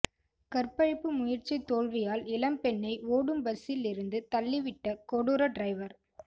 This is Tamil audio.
கற்பழிப்பு முயற்சி தோல்வியால் இளம்பெண்ணை ஓடும் பஸ்சில் இருந்து தள்ளிவிட்ட கொடூர டிரைவர்